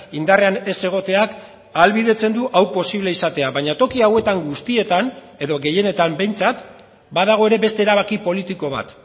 indarrean ez egoteak ahalbidetzen du hau posible izatea baina toki hauetan guztietan edo gehienetan behintzat badago ere beste erabaki politiko bat